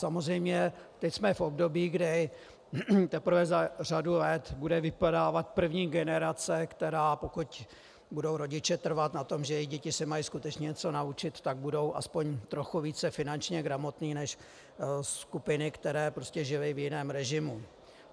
Samozřejmě teď jsme v období, kdy teprve za řadu let bude vypadávat první generace, která pokud budou rodiče trvat na tom, že jejich děti se mají skutečně něco naučit, tak budou aspoň trochu více finančně gramotné než skupiny, které žily v jiném režimu.